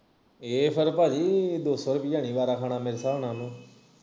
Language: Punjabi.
ਇਹ ਫਿਰ ਭਾਜੀ ਦੋ ਸੌ ਰੁਪਇਆ ਨੀ ਵਾਰਾਂ ਖਾਣਾ ਮੇਰੇ ਹਿਸਾਬ ਨਾਲ ਉਹਨੂੰ